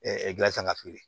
gilasi kan ka to yen